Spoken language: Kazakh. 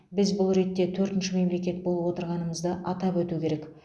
біз бұл ретте төртінші мемлекет болып отырғанымызды атап өту керек